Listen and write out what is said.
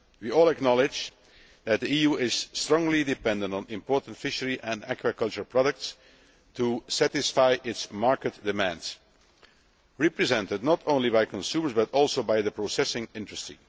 We all acknowledge that the EU is strongly dependent on imported fishery and aquaculture products to satisfy its market demands, represented not only by consumers, but also by the processing industry.